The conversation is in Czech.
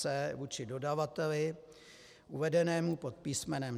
c) vůči dodavateli uvedenému pod písm.